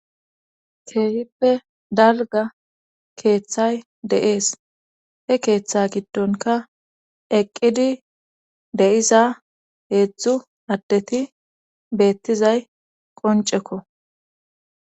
keehippe dalga keeththay de7ees he keeththe giddonka eqqidi de'iza heedzdzu addeti beettizay qoncekko.